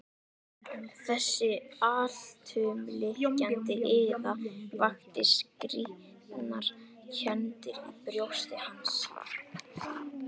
Þessi alltumlykjandi iða vakti skrýtnar kenndir í brjósti hans.